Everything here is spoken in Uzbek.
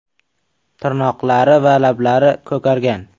Tirnoqlari va lablari ko‘kargan.